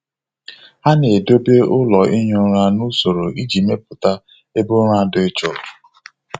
Ha na-edobe ụlọ ihi ụra n'usoro iji mepụta ebe ụra dị jụụ.